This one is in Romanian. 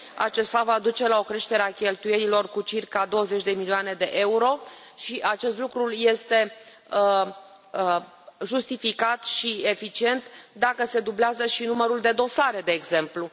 Acest fapt va duce la o creștere a cheltuielilor cu circa 20 de milioane de euro și acest lucru este justificat și eficient dacă se dublează și numărul de dosare, de exemplu.